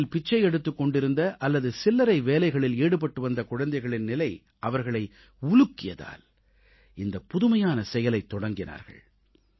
தெருக்களில் பிச்சை எடுத்துக் கொண்டிருந்த அல்லது சில்லறை வேலைகளில் ஈடுபட்டு வந்த குழந்தைகளின் நிலை அவர்களை உலுக்கியதால் இந்தப் புதுமையான செயலைத் தொடங்கினார்கள்